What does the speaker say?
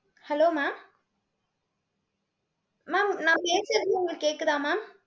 hello mam mam நான் பேசுறது உங்களுக்கு கேக்குதா mam